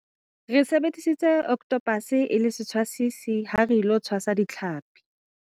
re sebedisitse okothopase e le setshwasisi ha re ilo tshwasa ditlhapi